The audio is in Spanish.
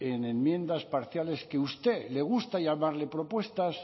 en enmiendas parciales que usted le gusta llamarle propuestas